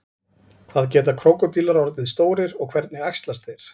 hvað geta krókódílar orðið stórir og hvernig æxlast þeir